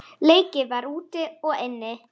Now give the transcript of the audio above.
Leikið var úti og inni.